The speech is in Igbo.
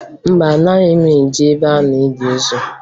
Mba, anaghị m eje ebe a na-eli ozu